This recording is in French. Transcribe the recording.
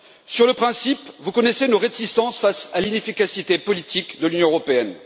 Sur le principe, vous connaissez nos réticences face à l'inefficacité politique de l'Union européenne.